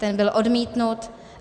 Ten byl odmítnut.